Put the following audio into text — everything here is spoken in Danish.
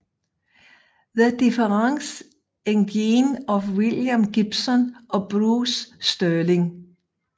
The Difference Engine af William Gibson og Bruce Sterling